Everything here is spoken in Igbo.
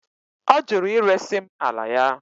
Ọ jụrụ iresi m ala ya.